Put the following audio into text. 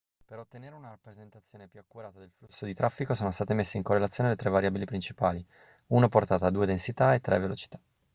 per ottenere una rappresentazione più accurata del flusso di traffico sono state messe in correlazione le tre variabili principali: 1 portata 2 densità e 3 velocità